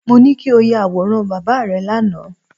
Mo ní kí o ya àwòrán bàbá rẹ lánàá